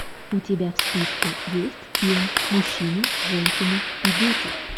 у тебя в списке есть фильм мужчины женщины и дети